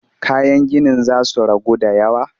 Kayan ginin za su ragu da yawa